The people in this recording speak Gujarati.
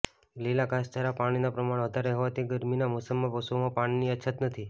લીલા ઘાસચારામાં પાણીના પ્રમાણ વધારે હોવાથી ગરમીના મૌસમમાં પશુઓમાં પાણીની અછત નથી